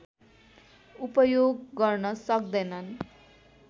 उपयोग गर्न सक्दैनन्